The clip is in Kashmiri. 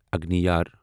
اگنیار